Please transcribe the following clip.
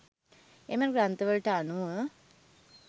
එම ග්‍රන්ථවලට අනුව